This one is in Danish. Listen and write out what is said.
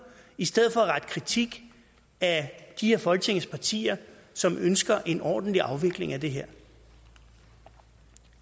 i stedet for at rette kritik af de af folketingets partier som ønsker en ordentlig afvikling af det her